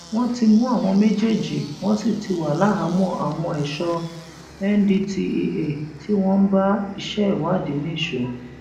wọn ti mú àwọn méjèèjì wọn sì ti wà láhàámọ àwọn ẹṣọ ndtea tí wọn ń bá iṣẹ ìwádìí nìṣó